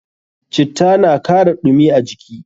Citta na kara ɗumi a jiki.